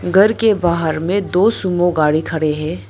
घर के बाहर में दो सुमो गाड़ी खड़े हैं।